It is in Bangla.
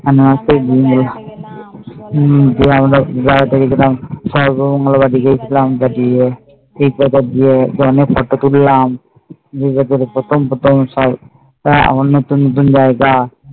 কত photo তুললাম তোর প্রথম আমার নতুন নতুন